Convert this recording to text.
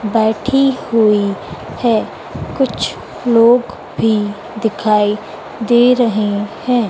बैठी हुई है कुछ लोग भी दिखाई दे रहे हैं।